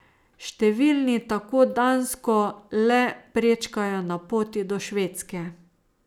Številni tako Dansko le prečkajo na poti do Švedske.